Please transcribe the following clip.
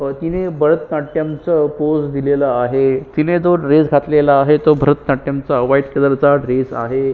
तिने भटनाट्यम चा पोज दिलेला आहे तिने तो ड्रेस घातलेला आहे तो भरतनाट्यम चा व्हाइट कलर चा ड्रेस आहे.